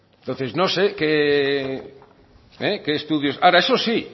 entonces no sé qué estudios ahora eso sí